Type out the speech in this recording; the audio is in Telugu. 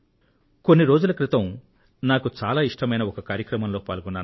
కొన్ని రోజుల క్రితం నేను చాలా ఇష్టమైన ఒక కార్యక్రమంలో పాల్గొన్నాను